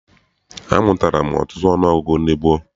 Amụtala m ọtụtụ ọnụọgụgụ ndị gboo.